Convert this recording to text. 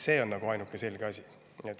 See on ainuke selge asi.